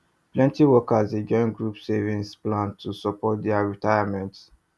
plenty workers dey join group savings plan to support their retirement